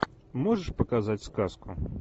можешь показать сказку